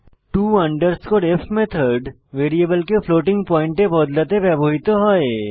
টো f method ভ্যারিয়েবলকে ফ্লোটিং পয়েন্টে বদলাতে ব্যবহৃত হয়